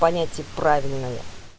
понятие правильное